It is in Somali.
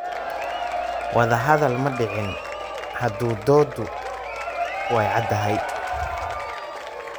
Wada hadal ma dhicin. Hadda dooddu way caddahay.